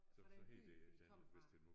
Fra den by de kom fra